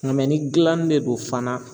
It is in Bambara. Nga ni gilanni de don fana